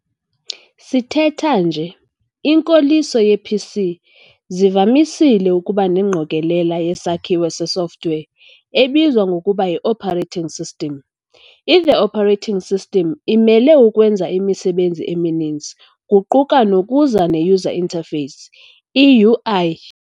Sithetha nje, inkoliso yee-PCs zivamisile ukuba nengqokolela yesakhiwo se-software ebizwa ngokuba yi-operating system. I-The operating system imele ukwenza imisebenzi emininzi kuquka nokuza ne-user interface, i-UI.